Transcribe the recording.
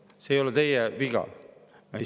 See ei ole teie viga.